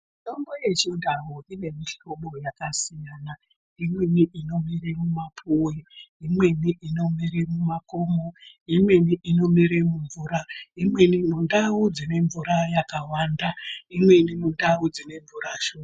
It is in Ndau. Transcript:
Mitombo yechindau ine mihlobo yakasiyana siyana imweni inomere mumapuwe, imweni inomere mumakomo, imweni inomere mumvura imweni mundau dzine mvura yakawanda imweni mundau dzine mvura shoma.